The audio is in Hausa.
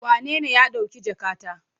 Wanene ya ɗauki jakata?